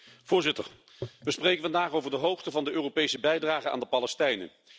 Voorzitter, we spreken vandaag over de hoogte van de Europese bijdrage aan de Palestijnen.